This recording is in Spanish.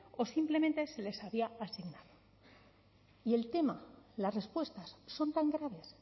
o simplemente se les había asignado y el tema las respuestas son tan graves